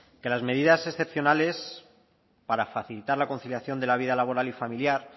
que las medidas excepcionales para facilitar la conciliación de la vida laboral y familiar